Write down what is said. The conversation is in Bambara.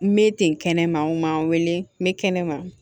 N bɛ ten kɛnɛma n ma n wele n bɛ kɛnɛma